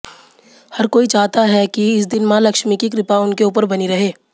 हर कोई चाहता है कि इस दिन मां लक्ष्मी की कृपा उनके ऊपर बनी रहे